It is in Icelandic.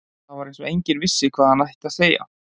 Það var eins og enginn vissi hvað hann ætti að segja.